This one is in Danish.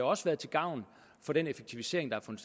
også været til gavn for den effektivisering der